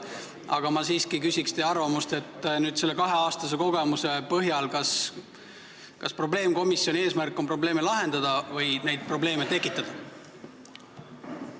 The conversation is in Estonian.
Aga ma siiski küsin teie arvamust selle kaheaastase kogemuse põhjal: kas probleemkomisjoni eesmärk on probleeme lahendada või neid tekitada?